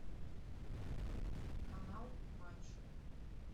канал матч